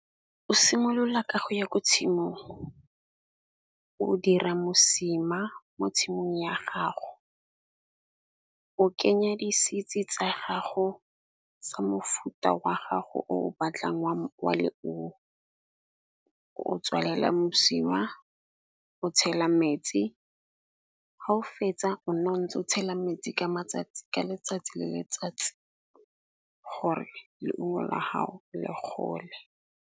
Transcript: O simolola ka go ya ko tshimong, o dira mosima mo tshimong ya gago. O kenya di-seeds-e tsa gago tsa mofuta wa gago o batlang wa le o. O tswalela mosima, o tshela metsi ha o fetsa o nna o ntse o tshela metsi ka matsatsi ka letsatsi le letsatsi gore leungo la gago le gole.